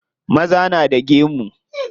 Maza na da gemu.